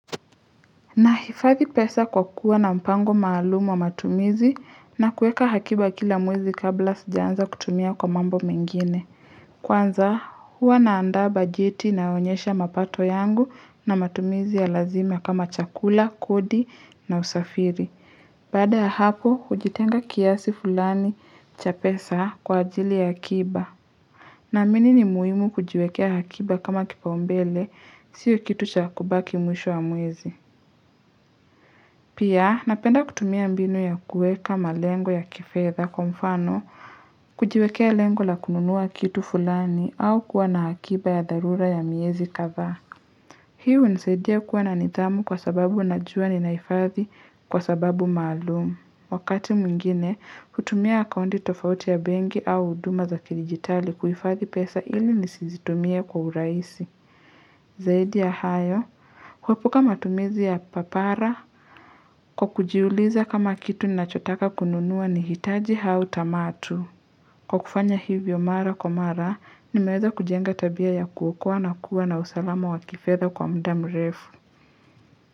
Na hifadhi pesa kwa kuwa na mpango maalumu wa matumizi na kuweka akiba kila mwezi kabla sijaanza kutumia kwa mambo mengine. Kwanza, huwa naanda bajeti ina yoonyesha mapato yangu na matumizi ya lazima kama chakula, kodi na usafiri. Baada ya hapo, hujitenga kiasi fulani cha pesa kwa ajili ya akiba. Na amini ni muhimu kujiwekea akiba kama kipaumbele, sio kitu cha kubaki mwisho wa mwezi. Pia, napenda kutumia mbinu ya kuweka malengo ya kifedha kwa mfano, kujiwekea lengo la kununua kitu fulani au kuwa na akiba ya dharura ya miezi kadha. Hii hunisaidia kuwa na nidhamu kwa sababu najua ni nahifathi kwa sababu maalumu. Wakati mwingine, hutumia akaunti tofauti ya bengi au huduma za kidijitali kuhifathi pesa ili nisizitumie kwa urahisi. Zaidi ya hayo, kuepuka matumizi ya papara kwa kujiuliza kama kitu ni nachotaka kununua ni hitaji hau tamatu. Kwa kufanya hivyo mara kwamara, nimeweza kujenga tabia ya kuokoa na kuwa na usalama wa kifedha kwa mudamrefu.